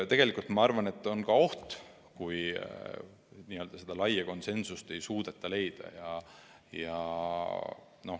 Tegelikult ma arvan, et see on oht, kui laia konsensust ei suudeta leida.